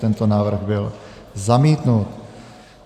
Tento návrh byl zamítnut.